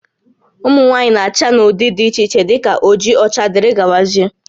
Ụmụ nwaanyị na-acha n'ụdị dị iche iche dị ka oji, ọcha wdg